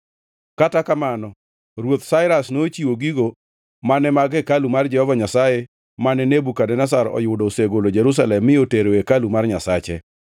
Kata kamano, Ruoth Sairas nochiwo gigo mane mag hekalu mar Jehova Nyasaye, mane Nebukadneza oyudo osegolo Jerusalem mi otero e hekalu mar nyasache.